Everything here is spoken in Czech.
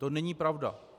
To není pravda.